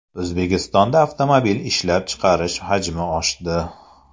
O‘zbekistonda avtomobil ishlab chiqarish hajmi oshdi.